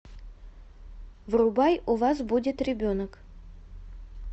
врубай у вас будет ребенок